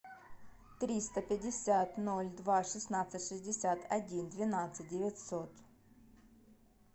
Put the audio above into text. триста пятьдесят ноль два шестнадцать шестьдесят один двенадцать девятьсот